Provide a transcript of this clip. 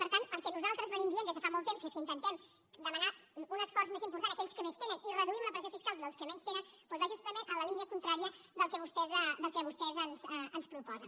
per tant el que nosaltres diem des de fa molt temps que intentem demanar un esforç més important a aquells que més tenen i reduïm la pressió fiscal dels que menys tenen va justament en la línia contrària del que vostès ens proposen